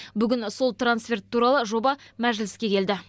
бүгін сол трансферт туралы жоба мәжіліске келді